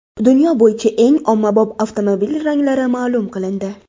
Dunyo bo‘yicha eng ommabop avtomobil ranglari ma’lum qilindi.